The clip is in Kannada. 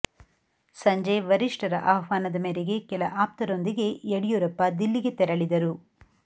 ಸಂಜೆ ವರಿಷ್ಠರ ಆಹ್ವಾನದ ಮೇರೆಗೆ ಕೆಲ ಆಪ್ತರೊಂದಿಗೆ ಯಡಿಯೂರಪ್ಪ ದಿಲ್ಲಿಗೆ ತೆರಳಿದರು